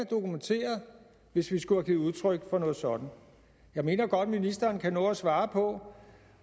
dokumenteret hvis vi skulle have givet udtryk for noget sådant jeg mener godt ministeren kan nå at svare på